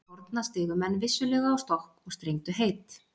Til forna stigu menn vissulega á stokk og strengdu heit.